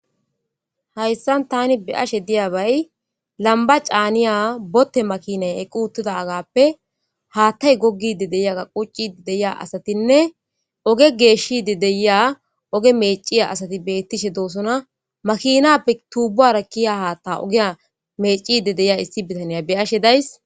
hayssan tani be ashe diyabay lamba caaniya botte makinay equ uttida agappe haattay gogide deya ga quccidi deya asatinne oge geeshide deya oge meciya asati beettishe doosona makinappe tuubuwara kiya haatta ogeya mecide deya issi bitaniya be ashe days